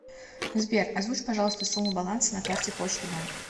сбер озвучь пожалуйста сумму баланса на карте почта банк